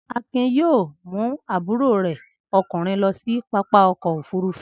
Akin yóò mú àbúrò rẹ̀ ọkùnrin lọ sí pápá ọkọ̀-òfurufú.